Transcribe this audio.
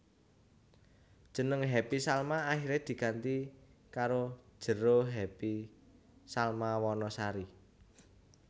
Jeneng Happy Salma akiré diganti karo Jero Happy Salma Wanasari